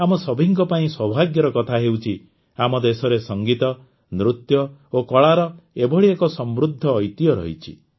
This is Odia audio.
ଆମ ସଭିଙ୍କ ପାଇଁ ସୌଭାଗ୍ୟର କଥା ହେଉଛି ଆମ ଦେଶରେ ସଂଗୀତ ନୃତ୍ୟ ଓ କଳାର ଏଭଳି ଏକ ସମୃଦ୍ଧ ଐତିହ୍ୟ ରହିଛି